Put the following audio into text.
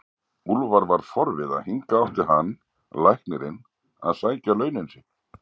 Úlfar var forviða, hingað átti hann, læknirinn, að sækja launin sín!